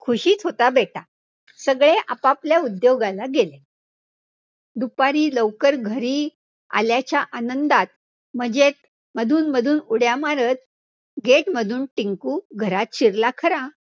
खुशीत होता बेटा, सगळे आपआपल्या उद्योगाला गेले. दुपारी लवकर घरी आल्याच्या आनंदात म्हणजेच मधून मधून उड्या मारतं, gate मधून टिंकु घरात शिरला खरा.